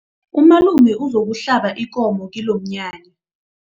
Umalume uzokuhlaba ikomo kilomnyanya.